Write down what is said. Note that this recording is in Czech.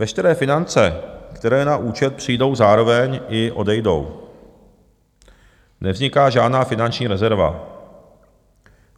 Veškeré finance, které na účet přijdou, zároveň i odejdou, nevzniká žádná finanční rezerva.